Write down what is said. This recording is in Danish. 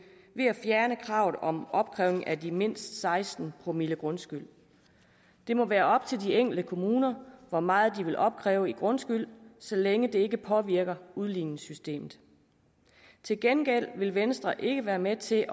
ved at fjerne kravet om opkrævning af mindst seksten promille grundskyld det må være op til de enkelte kommuner hvor meget de vil opkræve i grundskyld så længe det ikke påvirker udligningssystemet til gengæld vil venstre ikke være med til